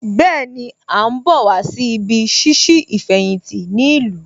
Bẹ́ẹ̀ni, À ń bọ̀ wá sí ibí ṣíṣí ìfẹ̀yìntì ní ìlú